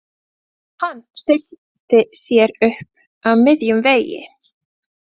Hann stillti sér upp á miðjum vegi.